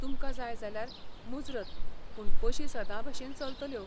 तुमकां जाय जाल्यार, मुजरत, पूण बशी सदांभशेन चलतल्यो.